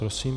Prosím.